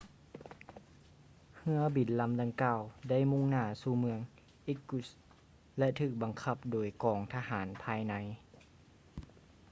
ເຮືອບິນລຳດັ່ງກ່າວໄດ້ມຸ່ງໜ້າສູ່ເມືອງ irkutsk ແລະ ຖືກບັງຄັບໂດຍກອງທະຫານພາຍໃນ